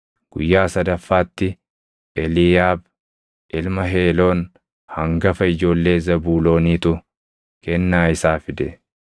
Guyyaa sadaffaatti Eliiyaab ilma Heeloon hangafa ijoollee Zebuuloonitu kennaa isaa fide.